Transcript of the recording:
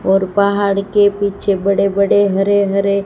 और पहाड़ के पीछे बड़े बड़े हरे हरे--